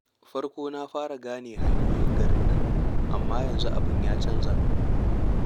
Farko na fara gane hanyoyin garin amma yanzu abin ya canja.